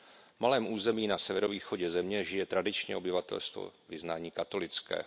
V malém území na severovýchodě země žije tradičně obyvatelstvo vyznání katolického.